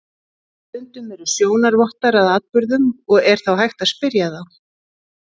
Stundum eru sjónarvottar að atburðum og er þá hægt að spyrja þá.